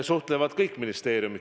Suhtlevad kõik ministeeriumid.